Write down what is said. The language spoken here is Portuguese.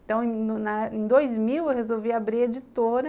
Então, em na na dois mil, eu resolvi abrir a editora.